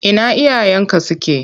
Ina iyayenka suke?